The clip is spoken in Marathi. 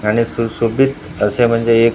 आणि सुशोभित असे म्हणजे एक--